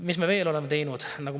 Mida me veel oleme teinud?